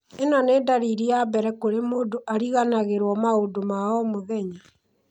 ĩno nĩ ndariri ya mbere kũrĩa mũndũ ariganagĩrwo maũndũ ma o mũthenya